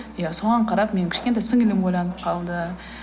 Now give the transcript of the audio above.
иә соған қарап менің кішкентай сіңлілім ойланып қалды